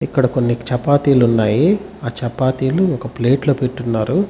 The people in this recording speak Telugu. ఇక్కడ కొన్ని చెపాతీలు ఉన్నాయి ఆ చెపాతీలు ప్లేట్ లో పెట్టునారు.